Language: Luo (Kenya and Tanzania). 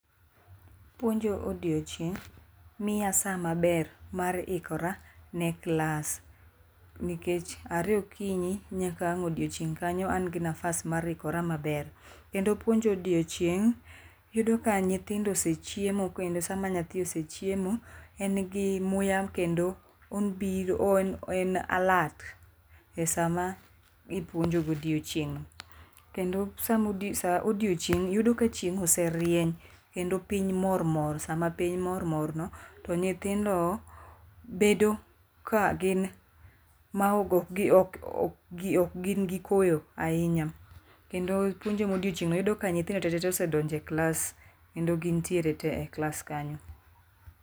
Puonjo odiochieng' miya saa maber mar ikora ne klas nikech are okinyi nyaka ang'o odiechieng' kanyo an gi nafas mar ikora maber. Kendo puonjo odiechieng' yudo ka nyithindo osechiemo kendo sama nyathi osechiemo en gi muya kendo obiro en en alert e sama ipuonjo godiochieng'no. Kendo saa odiechieng' yudo ka chieng' oserienye kendo piny mor mor sama piny moro morno to nyithindo bedo ka gin ma ok gin koyo ahinya kendo puonjo modiechieng'no yudo ka nyithindo tete ose donje eklas kendo ginntiere te eklas kanyo.